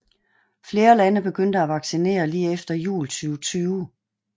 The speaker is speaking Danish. Flere lande begyndte at vaccinere lige efter jul 2020